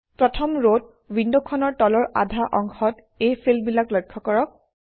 প্ৰথম ৰত উইণ্ডখনৰ তলৰ আধা অংশত এই ফিল্ডবিলাক লক্ষ্য কৰক